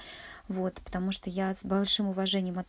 вот потому что я с большим уважением отн